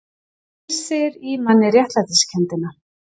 Æsir í manni réttlætiskenndina